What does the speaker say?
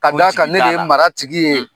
Ka d'a kan ne de ye mara tigi ye .